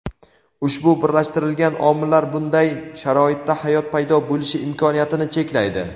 ushbu birlashtirilgan omillar bunday sharoitda hayot paydo bo‘lishi imkoniyatini cheklaydi.